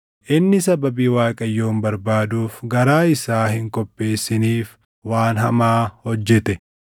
Inni sababii Waaqayyoon barbaaduuf garaa isaa hin qopheessiniif waan hamaa hojjete.